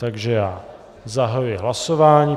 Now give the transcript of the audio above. Takže já zahajuji hlasování.